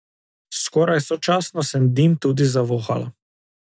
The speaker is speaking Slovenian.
Skoraj sočasno sem dim tudi zavohala.